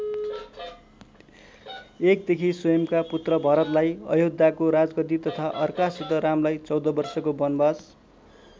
एकदेखि स्वयम्‌का पुत्र भरतलाई अयोध्याको राजगद्दी तथा अर्कासित रामलाई चौध वर्षको वनवास।